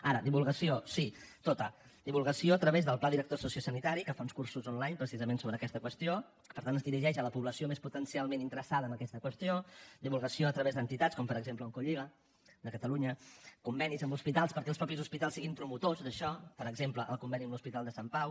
ara divulgació sí tota divulgació a través del pla director sociosanitari que fa uns cursos online precisament sobre aquesta qüestió que per tant es dirigeix a la població més potencialment interessada en aquesta qüestió divulgació a través d’entitats com per exemple oncolliga de catalunya convenis amb hospitals perquè els mateixos hospitals siguin promotors d’això per exemple el conveni amb l’hospital de sant pau